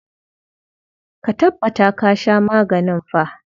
Ka tabbata ka sha maganin fa.